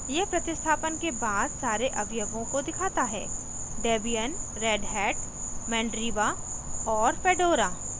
यह प्रतिस्थापन के बाद सारे अवयवों को दिखाता हैdebian redhat mandriva और fedora